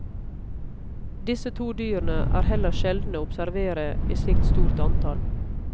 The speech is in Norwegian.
Disse to dyrene er heller sjeldne å observere i slikt stort antall.